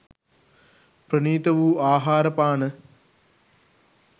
ප්‍රණීත වූ ආහාර පාන